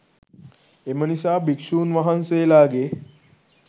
එම නිසා භික්‍ෂූන් වහන්සේලාගේ